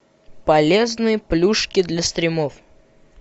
полезные плюшки для стримов